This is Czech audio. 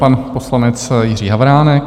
Pan poslanec Jiří Havránek.